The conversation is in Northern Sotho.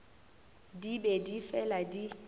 di be di fela di